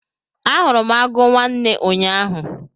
Ahụrụ m agụ nwanne ụnyaahụ.